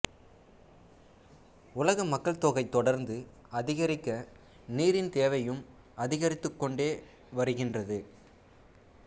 உலக மக்கள் தொகை தொடர்ந்து அதிகரிக்க நீரின் தேவையும் அதிகரித்துக் கொண்டே வருகின்றது